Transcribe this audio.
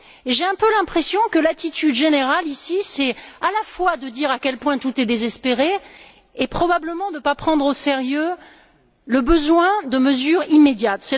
J'ai un peu l'impression que l'attitude générale ici consiste à la fois à dire à quel point tout est désespéré et probablement à ne pas prendre au sérieux le besoin de mesures immédiates.